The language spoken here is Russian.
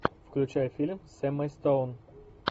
включай фильм с эммой стоун